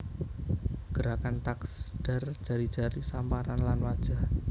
Gerakan taksdar jari jari samparan lan wajah